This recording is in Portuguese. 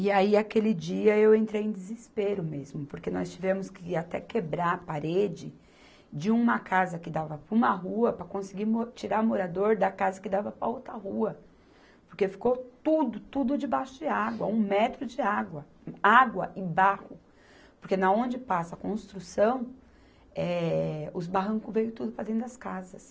E aí, aquele dia, eu entrei em desespero mesmo, porque nós tivemos que até quebrar a parede de uma casa que dava para uma rua, para conseguir mo tira morador da casa que dava para outra rua, porque ficou tudo, tudo debaixo de água, um metro de água, água e barro, porque na onde passa a construção, eh, os barranco veio tudo para dentro das casas.